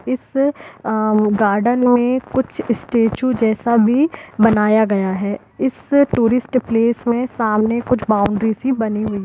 इस आ गार्डन में कुछ स्टेच्यू जैसा भी बनाया गया है इस टूरीस्ट प्लेस में सामने कुछ बाउंड्री सी बनी हुई--